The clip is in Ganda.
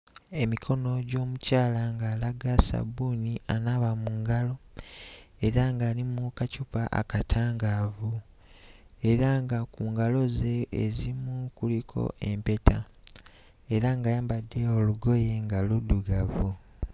Emikono gy'omukyala ng'alaga ssabbuuni anaaba mu ngalo era nga ali mu kacupa akatangaavu, era nga ku ngalo ze ezimu kuliko empeta era ng'ayambadde olugoye nga luddugavu.